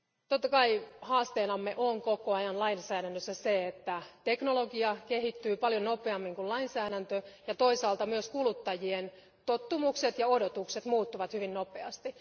Totta kai haasteenamme on koko ajan lainsäädännössä se, että teknologia kehittyy paljon nopeammin kuin lainsäädäntö ja toisaalta myös kuluttajien tottumukset ja odotukset muuttuvat hyvin nopeasti.